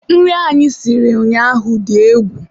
nri anyị siri ụnyaahụ dị egwu.